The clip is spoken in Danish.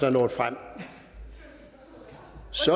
er nået frem